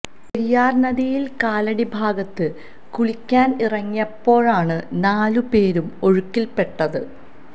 പെരിയാര് നദിയില് കാലടി ഭാഗത്ത് കുളിക്കാന് ഇറങ്ങിയപ്പോഴാണ് നാലുപേരും ഒഴുക്കില്പെട്ടത്